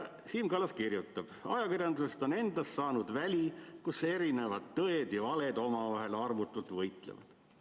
Siim Kallas kirjutab: "Ajakirjandusest endast on saanud väli, kus erinevad tõed ja valed omavahel armutult võitlevad.